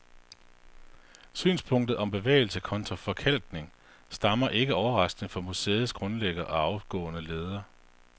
Synspunktet om bevægelse kontra forkalkning stammer ikke overraskende fra museets grundlægger og afgåede leder.